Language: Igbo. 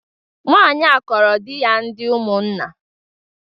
Nwanyị a kọọrọ di ya ndị Umunna